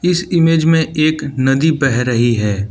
इस इमेज में एक नदी बह रही है।